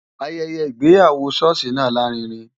Ayẹyẹ ìgbéyàwó ṣọ́ọ̀ṣì náà lárinrin.